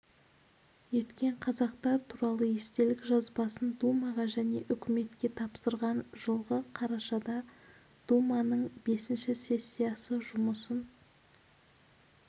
еткен қазақтар туралы естелік жазбасын думаға және үкіметке тапсырған жылғы қарашада думаның бесінші сессиясы жұмысын